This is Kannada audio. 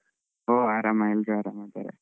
ಹ್ಮ್ ಆರಾಮ ಎಲ್ಲರು ಆರಾಮಿದ್ದಾರೆ.